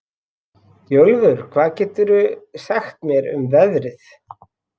Bjólfur, hvað geturðu sagt mér um veðrið?